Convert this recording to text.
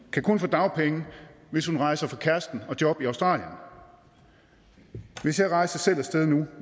kan kun få dagpenge hvis hun rejser fra kæresten og jobbet i australien hvis jeg rejser selv af sted nu